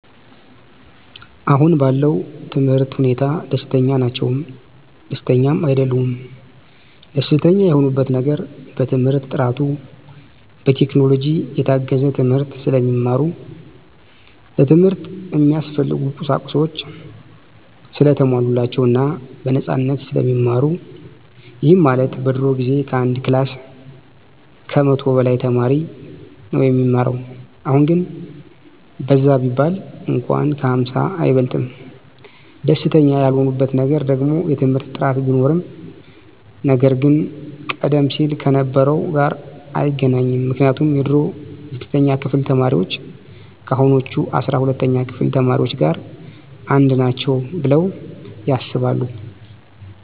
አሁን ባለው የትምህርት ሁኔታ ደስተኛ ናቸውም ደስተኛም አይደሉምም። ደስተኛ የሆኑበት ነገር በትምህርት ጥራቱ፣ በቴክኖሎጂ የታገዘ ትምህርት ስለሚማሩ፣ ለትምህርት እሚያስፈልጉ ቁሳቁሶች ሰለተሟሉላቸው እና በነፃነት ስለሚማሩ ይህም ማለት በድሮ ጊዜ ከአንድ ክላስ ከመቶ በላይ ተማሪ ነው እሚማረው አሁን ግን በዛ ቢባል እንኳን ከ ሃምሳ አይበልጥም። ደስተኛ ያልሆኑበት ነገር ደግሞ የትምህርት ጥራት ቢኖርም ነገር ግን ቀደም ሲል ከነበረው ጋር አይገናኝም ምክንያቱም የድሮ የስድስተኛ ክፍል ተማሪዎች ከአሁኖቹ አስራ ሁለተኛ ክፍል ተማሪዎች ጋር አንድ ናቸው ብለው ያስባሉ።